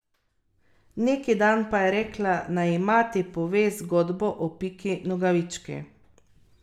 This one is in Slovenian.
Neki dan pa je rekla, naj ji mati pove zgodbo o Piki Nogavički.